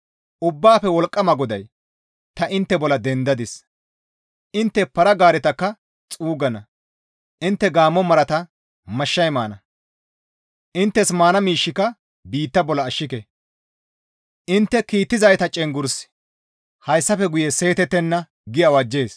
Ubbaafe Wolqqama GODAY, «Ta intte bolla dendadis; intte para-gaaretakka xuuggana; intte gaammo marata mashshay maana; inttes maana miishshika biitta bolla ashke; intte kiittizayta cenggurssi hayssafe guye seetettenna» gi awajjees.